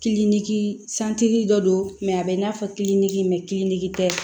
sigi dɔ don a bɛ i n'a fɔ tɛ